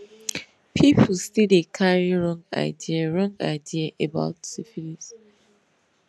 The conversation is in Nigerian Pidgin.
people still dey carry wrong idea wrong idea about syphilis